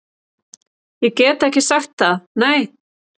Ég get ekki sagt það, nei